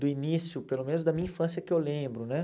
do início, pelo menos da minha infância, que eu lembro né.